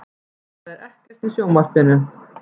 Það er ekkert í sjónvarpinu.